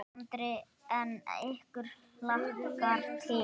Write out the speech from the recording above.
Andri: En ykkur hlakkar til?